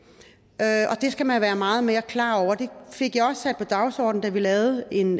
skal man være meget mere klar over det fik jeg også sat på dagsordenen da vi lavede en